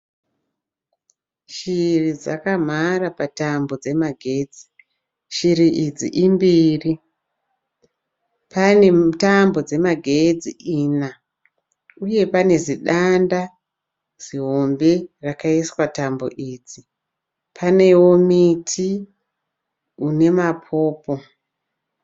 Shiri dzakamhara patambo dzemagetsi. Shiri idzi imbiri. Pane tambo dzemagetsi ina, uye panezidanda zihombe rakaiswa tambo idzi. Panewo miti unemapopo.